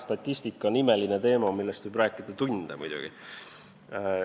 Statistika on imeline teema, millest võib rääkida muidugi tunde.